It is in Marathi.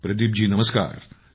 प्रदीप जी नमस्कार